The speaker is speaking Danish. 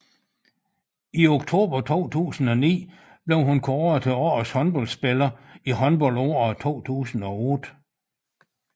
I oktober 2009 blev hun kåret til årets håndboldspiller i håndboldåret 2008